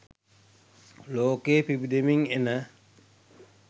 ලෝකයේ පිබිදෙමින් එන